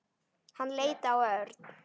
Hann leit á Örn.